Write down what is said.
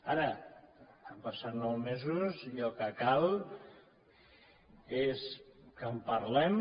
ara han passat nou mesos i el que cal és que en parlem